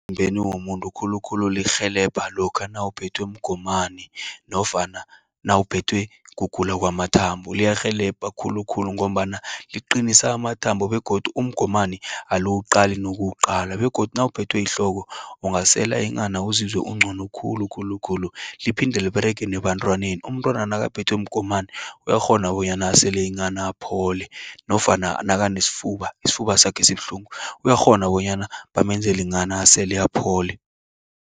Emzimbeni womuntu khulukhulu lirhelebha, lokha nawuphethwe mgomani, nofana nawuphethwe kugula kwamathumbu, liyarhelebha khulukhulu, ngombana liqinisa amathambo, begodu umgomani aliwuqali, nokuwuqala, begodu nawuphethwe yihloko, ungasele inghana, uzizwe ungcono khulu khulukhulu. Liphinde liberege nebantwaneni, umntwana nakaphethwe mgomani, uyakghona bonyana asele inghana aphole, nofana nakanesfuba, isifuba sakhe sibuhlungu, uyakghona bonyana bamenzeli inghana asele aphole.